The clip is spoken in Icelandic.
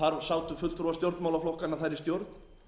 að þar sátu fulltrúa stjórnmálaflokkanna þar í stjórn